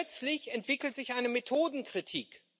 Und plötzlich entwickelt sich eine Methodenkritik.